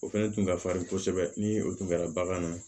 O fɛnɛ kun ka farin kosɛbɛ ni o tun kɛra bagan na